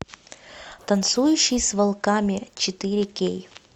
танцующий с волками четыре кей